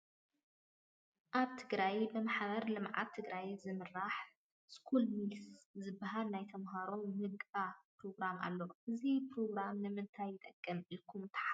ኣብ ትግራይ ብማሕበር ልምዓት ትግራይ ዝምራሕ ስኩል ሚልስ ዝበሃል ናይ ተመሃሮ ምገባ ፕሮግራም ኣሎ፡፡ እዚ ፕሮግራም ንምንታይ ይጠቅም ኢልኩም ትሓስቡ?